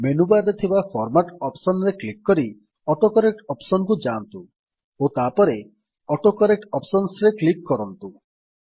menu bar ରେ ଥିବା format option ରେ କ୍ଲିକ୍ କରି ଅଟୋକରେକ୍ଟ ଅପ୍ସନ୍ କୁ ଯାଆନ୍ତୁ ଓ ତାପରେ ଅଟୋକରେକ୍ଟ ଅପସନ୍ସ ଉପରେ କ୍ଲିକ୍ କରନ୍ତୁ